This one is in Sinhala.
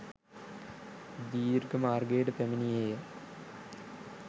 දීර්ඝ මාර්ගයට පැමිණියේ ය.